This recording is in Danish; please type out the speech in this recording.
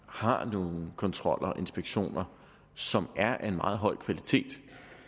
har nogle kontroller og inspektioner som er af meget høj kvalitet